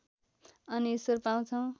अनि ईश्वर पाउँछौ